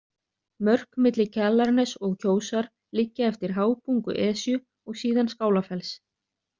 Mörk milli Kjalarness og Kjósar liggja eftir hábungu Esju og síðan Skálafells.